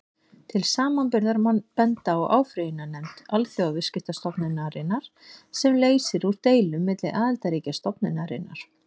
Til samanburðar má benda á áfrýjunarnefnd Alþjóðaviðskiptastofnunarinnar, sem leysir úr deilum milli aðildarríkja stofnunarinnar.